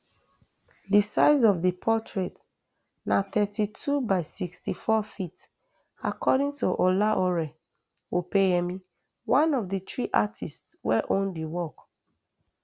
di size of di portrait na thirty-two by sixty-fourft according to olaore opeyemi one of di three artists wey own di work